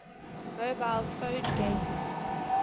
mobile phone games